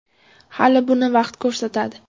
Hali buni vaqt ko‘rsatadi.